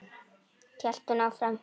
hélt hún áfram.